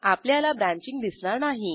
आपल्याला ब्रँचिंग दिसणार नाही